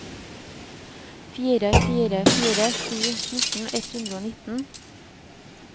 fire fire fire sju fjorten ett hundre og nittien